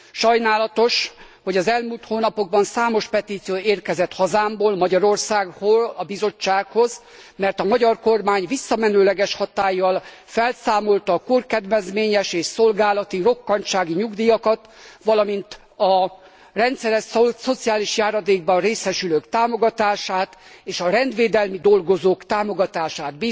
Sajnálatos, hogy az elmúlt hónapokban számos petíció érkezett hazámból, Magyarországról a Bizottsághoz, mert a magyar kormány visszamenőleges hatállyal felszámolta a korkedvezményes és szolgálati rokkantsági nyugdíjakat, valamint a rendszeres szociális járadékban részesülők támogatását és a rendvédelmi dolgozók támogatását.